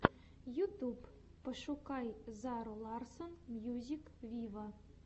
ютуб пошукай зару ларсон мьюзик виво